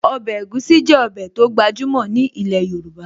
Ọbẹ̀ egusi jẹ́ ọbẹ̀ tó gbajúmọ̀ ní ilẹ̀ Yorùbá